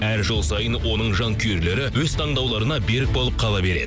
әр жыл сайын оның жанкүйерлері өз таңдауларына берік болып қала береді